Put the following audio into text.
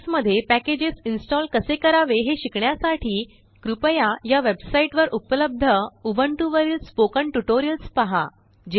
Linux मध्ये package install कसे करावे हे शिकण्यासाठी कृपया यावेबसाइट वर उपलब्ध उबंटूवरीलस्पोकन ट्यूटोरियल्स पहा